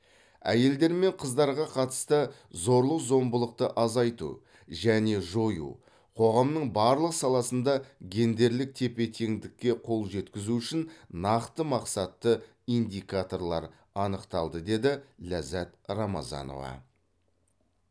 әйелдер мен қыздарға қатысты зорлық зомбылықты азайту және жою қоғамның барлық саласында гендерлік тепе теңдікке қол жеткізу үшін нақты мақсатты индикаторлар анықталды деді ләззат рамазанова